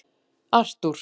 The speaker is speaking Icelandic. Arthur